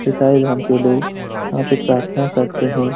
ईसाई धर्म के लोग यहां पर प्रार्थना करते हैं।